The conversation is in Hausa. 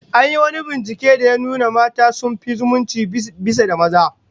An yi wani binciken da ya nuna mata sun fi zumunci bisa maza